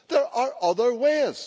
There are other ways.